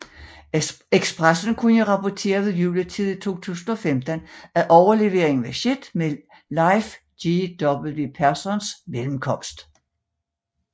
Expressen kunne rapportere ved juletid i 2015 at overleveringen var sket med Leif GW Perssons mellemkomst